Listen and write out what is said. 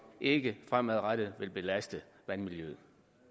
ikke fremadrettet vil belaste vandmiljøet